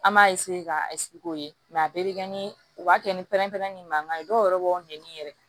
An b'a k'a k'o ye a bɛɛ bɛ kɛ ni u b'a kɛ ni pɛrɛnpɛrɛn ni mankan ye dɔw yɛrɛ b'aw ɲɛ ɲini yɛrɛ